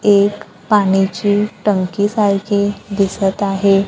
एक पाण्याची टंकी सारखी दिसत आहे.